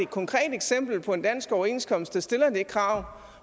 konkret eksempel på en dansk overenskomst der stiller det krav